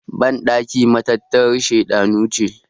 bandaki matattarar shedanu ce